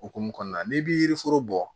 Okumu kɔnɔna n'i bi yiri foro bɔ